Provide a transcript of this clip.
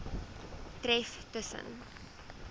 tref tus sen